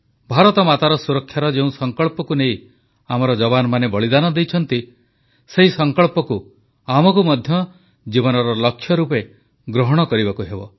ଭାରତମାତାର ସୁରକ୍ଷାର ଯେଉଁ ସଂକଳ୍ପକୁ ନେଇ ଆମର ଯବାନମାନେ ବଳିଦାନ ଦେଇଛନ୍ତି ସେହି ସଂକଳ୍ପକୁ ଆମକୁ ମଧ୍ୟ ଜୀବନର ଲକ୍ଷ୍ୟ ରୂପେ ଗ୍ରହଣ କରିବାକୁ ହେବ